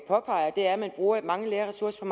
påpeger er at man bruger mange lærerressourcer